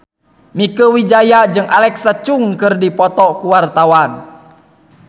Mieke Wijaya jeung Alexa Chung keur dipoto ku wartawan